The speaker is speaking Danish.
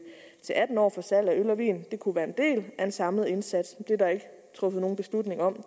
til atten år for salg af øl og vin kunne være en del af en samlet indsats det er der ikke truffet nogen beslutning om